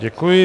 Děkuji.